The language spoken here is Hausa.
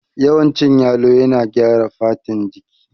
Yawan cin yalo yana gyara fatan jiki